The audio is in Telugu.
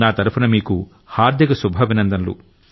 నా తరఫున మీకు హార్ధిక శుభాభినందనలు